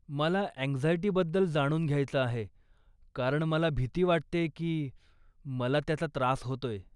मला अँक्झाइटीबद्दल जाणून घ्यायचं आहे कारण मला भीती वाटतेय की मला त्याचा त्रास होतोय.